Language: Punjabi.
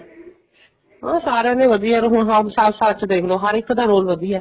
ਹਮ ਸਾਰਿਆਂ ਦੇ ਵਧੀਆ ਹੁਣ ਸੱਚ ਦੇਖਲੋ ਹਰ ਇੱਕ ਦਾ role ਵਧੀਆ